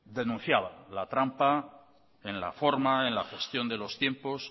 denunciaba la trampa en la gestión de los tiempos